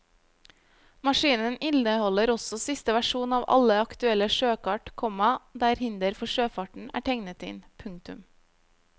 Maskinen inneholder også siste versjon av alle aktuelle sjøkart, komma der hinder for sjøfarten er tegnet inn. punktum